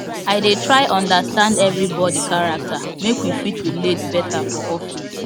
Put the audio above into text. i dey try understand everybody character make we fit relate better for office